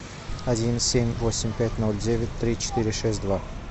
один семь восемь пять ноль девять три четыре шесть два